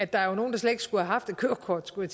der er nogle der slet ikke skulle haft et kørekort skulle